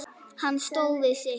Hann stóð við sitt.